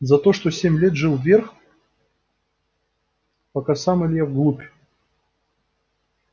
за то что тот семь лет жил вверх пока сам илья вглубь